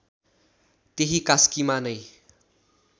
त्यही कास्कीमा नै